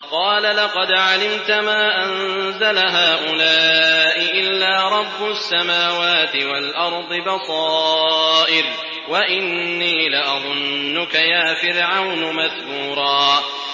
قَالَ لَقَدْ عَلِمْتَ مَا أَنزَلَ هَٰؤُلَاءِ إِلَّا رَبُّ السَّمَاوَاتِ وَالْأَرْضِ بَصَائِرَ وَإِنِّي لَأَظُنُّكَ يَا فِرْعَوْنُ مَثْبُورًا